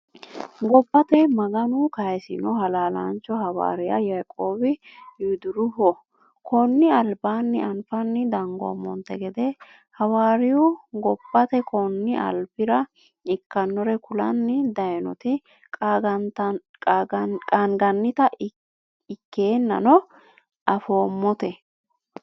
Gobbate maganu kaayisino halaalancho hawariya yaaqobi yuduruho konni alibaanni afani dangumonte gede hawayiriyu gobbate konni alibirra ikkanorre kulani dayiinoti qaanganite ikkeenanno afoomote.